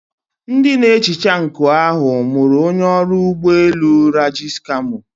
Ndị na-ehicha nkụ ahụ mụrụ onye ọrụ ụgbọ elu Raji's camo.